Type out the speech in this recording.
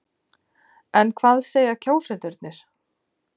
En hvað segja kjósendur?